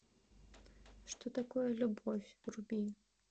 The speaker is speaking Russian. что такое любовь вруби